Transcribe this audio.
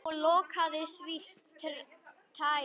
Og loftið svo tært.